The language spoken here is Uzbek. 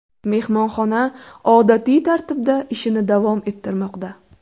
Mehmonxona odatiy tartibda ishini davom ettirmoqda.